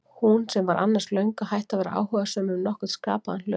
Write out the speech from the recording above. Hún sem var annars löngu hætt að vera áhugasöm um nokkurn skapaðan hlut.